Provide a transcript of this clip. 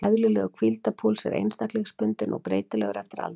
Eðlilegur hvíldarpúls er einstaklingsbundinn og breytilegur eftir aldri.